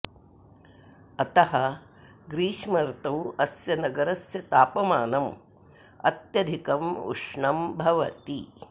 अतः ग्रीष्मर्तौ अस्य नगरस्य तापमानम् अत्यधिकम् उष्णं भवति